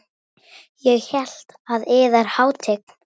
Ég hélt að yðar hátign.